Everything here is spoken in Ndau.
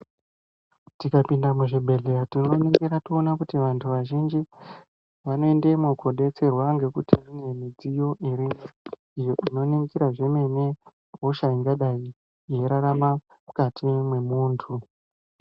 Tikapinda muzvibhedhleya tinoningira tione kuti vantu vazhinji vanoendemwo kodetserwa ngekuti mune mudziyo irimwo iyo inoningira zvemene hosha ingadai yeirarama mukati mwemuntu.